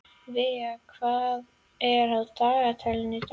Vivian, hvað er á dagatalinu í dag?